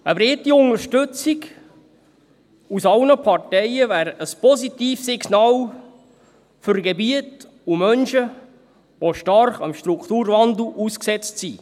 Eine breite Unterstützung aus allen Parteien wäre ein positives Signal für Gebiete und Menschen, die dem Strukturwandel stark ausgesetzt sind.